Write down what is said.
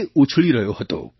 તે ઉછળી રહ્યો હતો